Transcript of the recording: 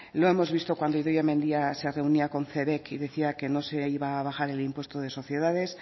lo hemos visto cuando idoia mendia se reunía con cebek y decía que no se iba a bajar el impuesto de sociedades